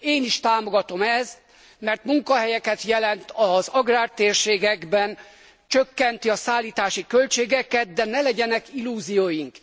Én is támogatom ezt, mert munkahelyeket jelent az agrártérségekben, csökkenti a szállítási költségeket, de ne legyenek illúzióink.